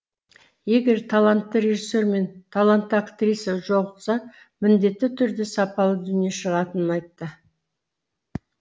егер талантты режиссер мен талантты актриса жолықса міндетті түрде сапалы дүние шығатынын айтты